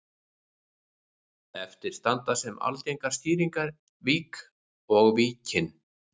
Eftir standa sem algengar skýringar vík og Víkin.